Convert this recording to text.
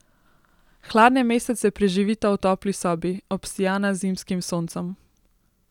Hladne mesece preživita v topli sobi, obsijana z zimskim soncem.